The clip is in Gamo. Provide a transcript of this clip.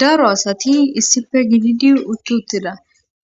daro asati issife gididi uttuttida